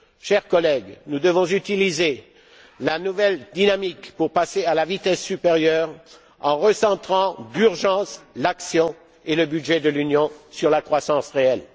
Chers collègues, nous devons utiliser la nouvelle dynamique pour passer à la vitesse supérieure en recentrant d'urgence l'action et le budget de l'Union sur la croissance réelle.